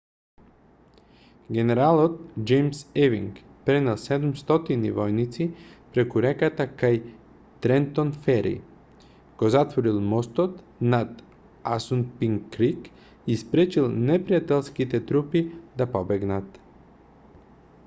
генералот џејмс евинг пренел 700 војници преку реката кај трентон фери го затворил мостот над асунпинк крик и спречил непријателските трупи да побегнат